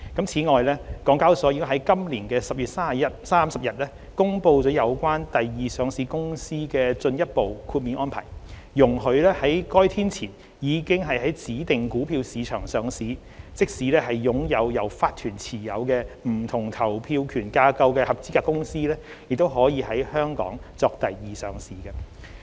此外，港交所已在今年10月30日公布了有關第二上市公司的進一步豁免安排，容許在該天前已在指定股票市場上市，即使擁有由法團持有不同投票權架構的合資格公司也可以在香港作第二上市。